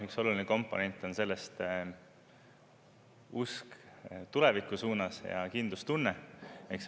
Üks oluline komponent on selles usk tuleviku suunas ja kindlustunne.